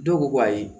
Dɔw ko ko ayi